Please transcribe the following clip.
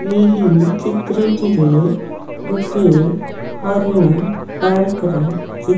ଏହି ଚିତ୍ର ଟିରେ ଗୋଟିଏ ହରିଣ ପାର୍କ ରେ ଚି --